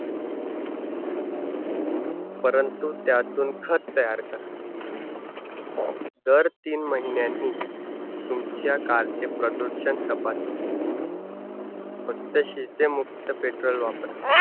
परंतु त्यातून खत तयार करा. दर तीन महिन्यांनी तुमच्या car चे प्रदूषण तपासा फक्त शेतीमुक्त petrol वापरा.